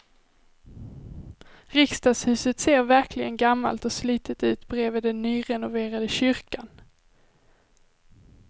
Riksdagshuset ser verkligen gammalt och slitet ut bredvid den nyrenoverade kyrkan.